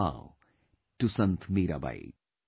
I bow to Sant Mirabai